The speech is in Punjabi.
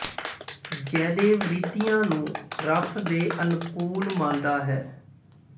ਜਯਦੇਵ ਰੀਤੀਆਂ ਨੂੰ ਰਸ ਦੇ ਅਨੁਕੂਲ ਮੰਨਦਾ ਹੈ